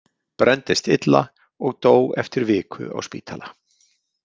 Brenndist illa og dó eftir viku á spítala.